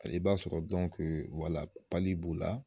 Hali b'a sɔrɔ wala b'u la